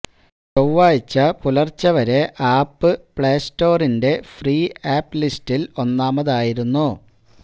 ചൊവ്വാഴ്ച പുലര്ച്ചെ വരെ ആപ്പ് പ്ലേസ്റ്റോറിന്റെ ഫ്രീ ആപ്പ് ലിസ്റ്റില് ഒന്നാമതായിരുന്നു